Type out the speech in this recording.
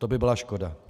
To by byla škoda.